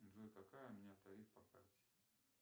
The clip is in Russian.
джой какой у меня тариф по карте